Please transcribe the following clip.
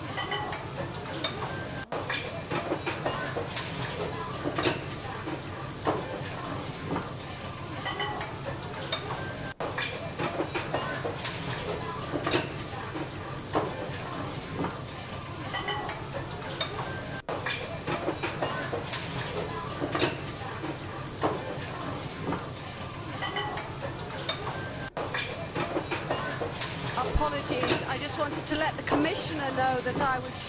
Madam President, I just wanted to let the Commissioner know that I was shocked and horrified